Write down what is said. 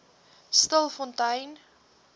stilfontein